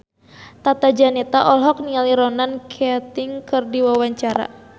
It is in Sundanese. Tata Janeta olohok ningali Ronan Keating keur diwawancara